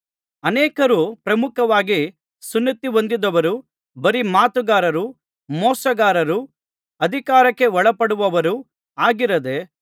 ಅನೇಕರು ಪ್ರಮುಖವಾಗಿ ಸುನ್ನತಿಹೊಂದಿದವರು ಬರೀ ಮಾತುಗಾರರೂ ಮೋಸಗಾರರೂ ಅಧಿಕಾರಕ್ಕೆ ಒಳಪಡದವರು ಆಗಿದ್ದಾರೆ